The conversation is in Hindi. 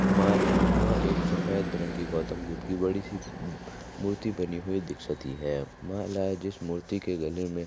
माला या एक सफेद रंग की गौतम बुद्ध की बड़ी सी मू मूर्ती बनी हुई दिखसती है माला जिस मूर्ती के गले में --